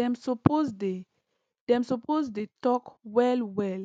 dem suppose dey dem suppose dey talk well well